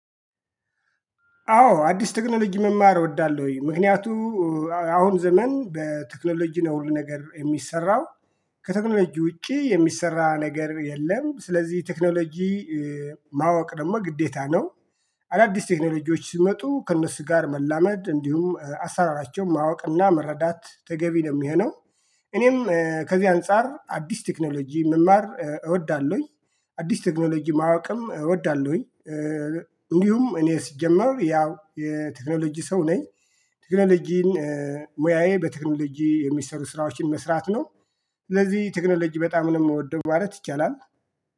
አዎ አዲስ ቴክኖሎጂ መማር እወዳለሁ ወይ ምክንያቱም አሁን ዘመን በቴክኖሎጂ ነው ነገር የሚሰራው ከቴክኖሎጂ ውጪ የሚሰራ ነገር የለም ስለዚህ ቴክኖሎጂ ማወቅ ደግሞ ግዴታ ነው። አዳዲስ ቴክኖሎጂዎች ሲመጡ ከእነሱ ጋር መላመድ እንዲሁም አሰራራቸውን ማወቅና መረዳት ተገቢ ነው የሚሆነው። እኔም ከዚህ አንፃር አዲስ ቴክኖሎጂ መማር እወዳለሁኝ አዲስ ቴክኖሎጂ ማወቅም እወዳለሁኝ እንዲሁም እኔ ሲጀመር ያው የቴክኖሎጂ ሰው ነኝ። ቴክኖሎጂን ሙያዬ በቴክኖሎጂ የሚሰሩ ስራዎችን መስራት ነው ስለዚህ ቴክኖሎጂ በጣም ምወደው ማለት ይቻላል።